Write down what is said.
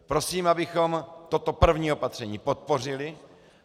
Prosím, abychom toto první opatření podpořili.